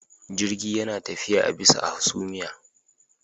Jirgi yana tafiya a bisa a hasumiya